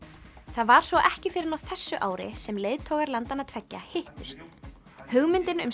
það var svo ekki fyrr en fyrr á þessu ári sem leiðtogar landanna tveggja hittust hugmyndin um